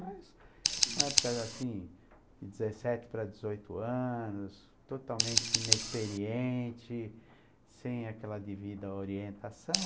Mas a época era assim, dezessete para dezoito anos, totalmente inexperiente, sem aquela devida orientação.